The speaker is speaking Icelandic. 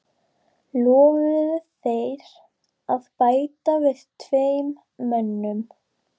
Lofuðu þeir að bæta við tveim mönnum.